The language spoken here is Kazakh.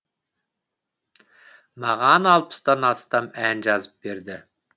маған алпыстан астам ән жазып берді